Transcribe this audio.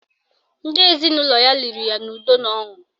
Ndị ezinụlọ ya liri ya n'udo na ọṅụ